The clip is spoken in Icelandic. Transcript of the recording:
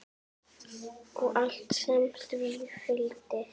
Og allt sem því fylgdi.